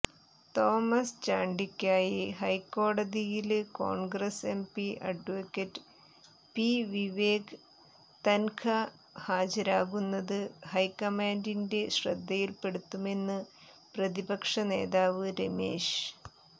Thomas ചാണ്ടിക്കായി ഹൈക്കോടതിയില് Congress MP advocate P Vivek Tankha ഹാജരാകുന്നത് ഹൈക്കമാന്ഡിന്റെ ശ്രദ്ധയില്പ്പെടുത്തുമെന്ന് പ്രതിപക്ഷ നേതാവ് രമേശ്